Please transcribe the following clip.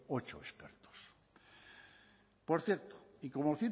ocho expertos por cierto y